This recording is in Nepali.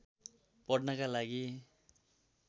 पढ्नका लागि